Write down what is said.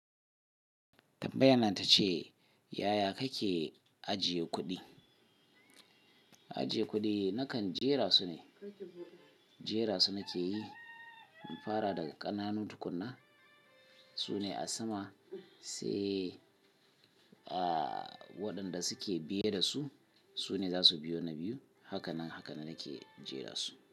Tambayan nan ta ce, yaya kake ajiye kuɗi? Ajiye kuɗi nakan jera su ne. Jera su nake yi in fara daga ƙananun tukuna. Su ne a sama sai a wadan da suke biye da su. Su ne za su biyo na biyu. Hakanan, hakanan nake jera su.